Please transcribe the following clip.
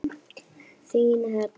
Þín, Heba.